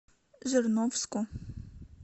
жирновску